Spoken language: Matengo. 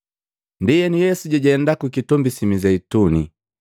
Ndienu Yesu jajenda ku kitombi si Mizeituni.